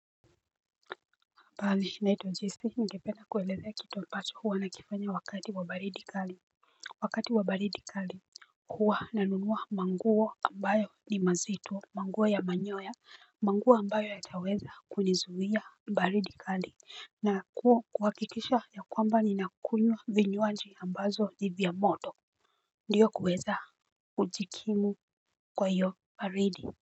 Mbali naitwa jessy ningependa kueleza kitu ambacho huwa nakifanya wakati wa baridi kali. Wakati wa baridi kali huwa nanunua manguo ambayo ni mazito manguo ya manyoya. Manguo ambayo yataweza kunizuia baridi kali na kuhakikisha ya kwamba ninakunywa vinywaji ambazo ni vya moto. Ndiyo kuweza kujikimu kwa hiyo baridi.